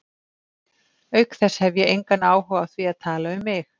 Auk þess hef ég engan áhuga á því að tala um mig.